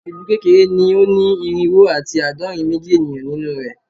Ilu kekere ni o ni irinwo ati aadọrin meji eniyan ninu rẹ